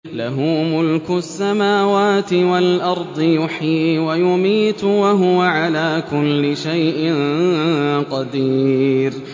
لَهُ مُلْكُ السَّمَاوَاتِ وَالْأَرْضِ ۖ يُحْيِي وَيُمِيتُ ۖ وَهُوَ عَلَىٰ كُلِّ شَيْءٍ قَدِيرٌ